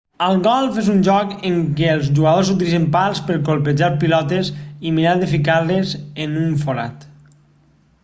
el golf és un joc en què els jugadors utilitzen pals per colpejar pilotes i mirar de ficar-les en un forat